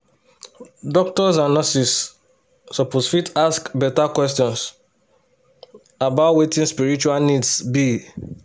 doctors and nurses suppose fit ask better questions about wetin spiritual needs be.